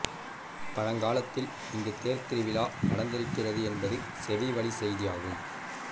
பழங்காலத்தில் இங்கு தேர் திருவிழா நடந்திருக்கிறது என்பது செவிவழி செய்தியாகும்